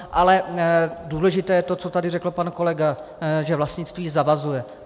Ale důležité je to, co tady řekl pan kolega, že vlastnictví zavazuje.